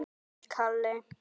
Kinkar kolli til hennar.